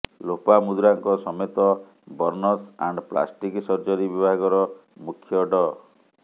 ଲୋପାମୁଦ୍ରାଙ୍କ ସମେତ burns and plastic surgery ବିଭାଗର ମୁଖ୍ୟ ଡ